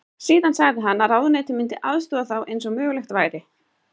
Síðan sagði hann að ráðuneytið myndi aðstoða þá eins og mögulegt væri.